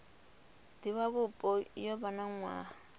divhavhupo yo vha na nwaha